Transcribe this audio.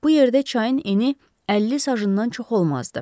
Bu yerdə çayın eni 50 sajından çox olmazdı.